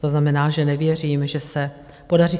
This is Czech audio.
To znamená, že nevěřím, že se podaří.